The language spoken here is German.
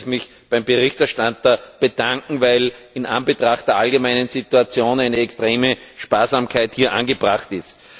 Ich möchte mich beim Berichterstatter bedanken, weil in Anbetracht der allgemeinen Situation eine extreme Sparsamkeit angebracht ist.